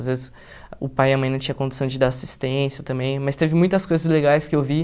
Às vezes, o pai e a mãe não tinham condição de dar assistência também, mas teve muitas coisas legais que eu vi.